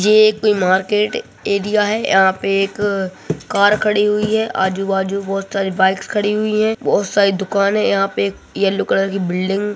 ये एक market area है यहाँ पे एक कार खड़ी हुई है आजु बाजु भोत सारी बाइक्स खड़ी हुई हैं भोत सारी दुकान हैं यहाँ पे एक येल्लो कलर की बिल्डिंग --